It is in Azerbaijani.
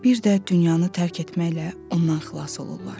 Bir də dünyanı tərk etməklə ondan xilas olurlar.